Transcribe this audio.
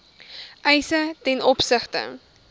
eise ten opsigte